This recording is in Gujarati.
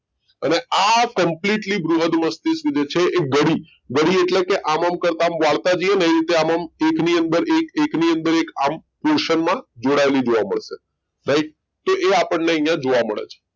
અને આ completely બૃહદ મસ્તિષ્ક જે છે એ ગળી ગળી એટલે કે આમ આમ કરતાં આમ વાળતા જઈએ ને એ રીતે આમ આમ એકની અંદર એક એકની અંદર એક આમ કુશન માં જોડાયેલી જોવા મળશે right તો એ આપણને અહીંયા જોવા મળ છે